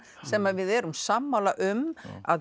sem við erum sammála um að